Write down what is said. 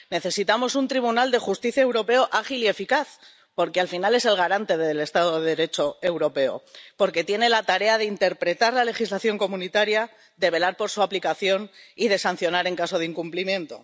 Necesitamos un Tribunal de Justicia Europeo ágil y eficaz, porque al final es el garante del Estado de Derecho Europeo, al tener la tarea de interpretar la legislación de la Unión, de velar por su aplicación y de sancionar en caso de incumplimiento.